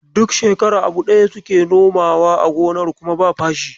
Duk shekara abu daya suke nomawa a gonar kuma ba fashi.